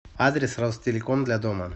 адрес ростелеком для дома